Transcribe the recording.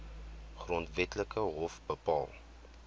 grondwetlike hof bepaal